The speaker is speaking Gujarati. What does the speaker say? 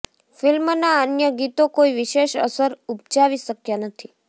ફિલ્મના અન્ય ગીતો કોઇ વિશેષ અસર ઉપજાવી શક્યા નથી